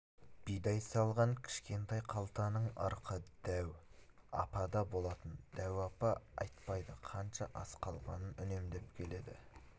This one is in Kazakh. бидай салынған кішкентай қалтаның ырқы дәу апада болатын дәу апа айтпайды қанша ас қалғанын үнемдеп келеді